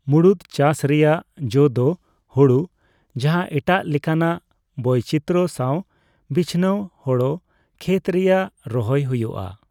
ᱢᱩᱲᱩᱫ ᱪᱟᱹᱥ ᱨᱮᱭᱟᱜ ᱡᱚ ᱫᱚ ᱦᱳᱲᱳ, ᱡᱟᱦᱟ ᱮᱴᱟᱜ ᱞᱮᱠᱟᱱᱟᱜ ᱵᱳᱪᱤᱛᱚᱨᱚ ᱥᱟᱣ ᱵᱤᱪᱱᱟᱣ ᱦᱳᱲᱳ ᱠᱷᱮᱛ ᱨᱮᱭᱟᱜ ᱨᱚᱦᱚᱭ ᱦᱚᱭᱩᱜ ᱟ ᱾